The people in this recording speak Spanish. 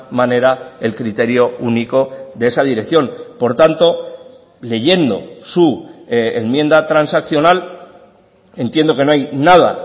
manera el criterio único de esa dirección por tanto leyendo su enmienda transaccional entiendo que no hay nada